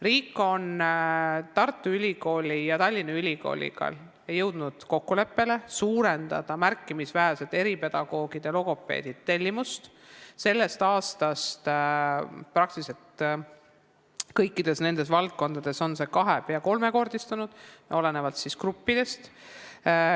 Riik on jõudnud Tartu Ülikooli ja Tallinna Ülikooliga kokkuleppele suurendada märkimisväärselt eripedagoogide ja logopeedide tellimust, sellest aastast on see peaaegu kõikides nendes valdkondades kahe- või peaaegu kolmekordistunud, olenevalt gruppidest.